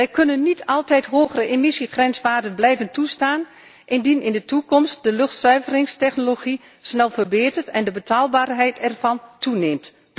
Wij kunnen niet altijd hogere emissiegrenswaarden blijven toestaan indien in de toekomst de luchtzuiveringstechnologie snel verbetert en de betaalbaarheid ervan toeneemt.